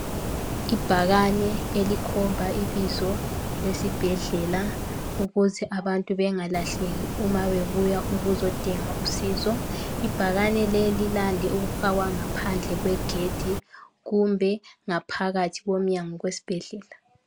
Ibhakane elikhomba ibizo lesibhedlela ukuze abantu bengalahleki uma bebuya ukuzodinga usizo .Ibhakane leli lilande ukufakwa ngaphandle kwegedi kumbe ngaphakathi komnyango kwesibhedlela